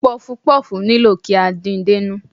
Puff-puff nílò kí a din dénú.